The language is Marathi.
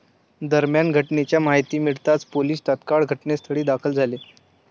दरम्यान घटनेची माहिती मिळताच पोलीस तात्काळ घटनास्थळी दाखल झाले.